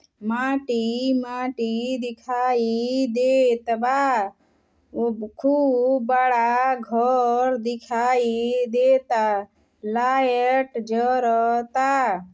माटी माटी दिखाई देत बा। उ खूब बड़ा घर दिखाई देता। लायट जरता।